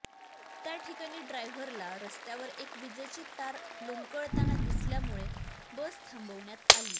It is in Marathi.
त्याठिकाणी ड्रायव्हरला रस्त्यावर एक वीजेची तार लोंबकळताना दिसल्यामुळे बस थांबवण्यात आली